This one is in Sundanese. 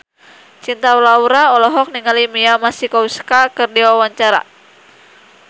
Cinta Laura olohok ningali Mia Masikowska keur diwawancara